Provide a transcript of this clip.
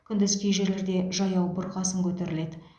күндіз кей жерлерде жаяу бұрқасын көтеріледі